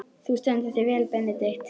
Þú stendur þig vel, Benedikt!